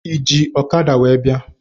Ị ji ọkada wee bịa?